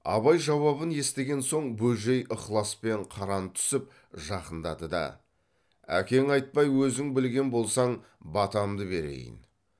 абай жауабын естіген соң бөжей ықыласпен қаран түсіп жақындады да әкең айтпай өзің білген болсаң батамды берейін